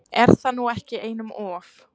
Er það nú ekki einum of?